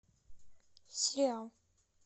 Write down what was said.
сериал